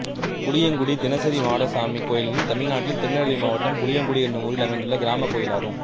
புளியங்குடி தினசரி மாடசாமி கோயில் தமிழ்நாட்டில் திருநெல்வேலி மாவட்டம் புளியங்குடி என்னும் ஊரில் அமைந்துள்ள கிராமக் கோயிலாகும்